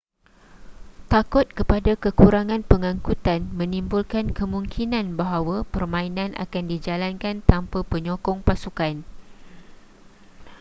takut kepada kekurangan pengangkutan menimbulkan kemungkinan bahawa permainan akan dijalankan tanpa penyokong pasukan